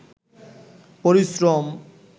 পরিশ্রম